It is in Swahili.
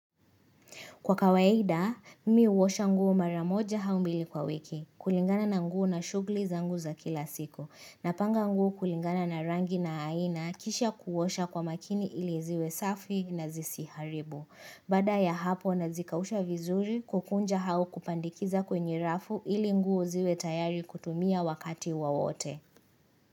Kwa kawaida, mimi huosha nguo maramoja au mbili kwa wiki, kulingana na nguo na shughuli zangu za kila siku, napanga nguo kulingana na rangi na aina kisha kuosha kwa makini ili ziwe safi na zisiharibu. Baada ya hapo nazikausha vizuri kukunja au kupandikiza kwenye rafu ili nguo ziwe tayari kutumia wakati wowote.